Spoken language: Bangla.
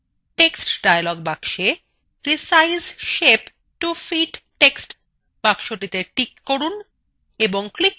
text dialog box resize shape to fit text width boxটিতে টিক করুন এবং click করুন ok